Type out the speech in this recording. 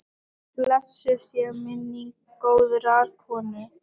Blessuð sé minning góðrar konu.